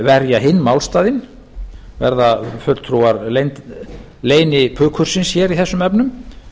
verja hinn málstaðinn verða fulltrúar leynipukursins hér í þessum efnum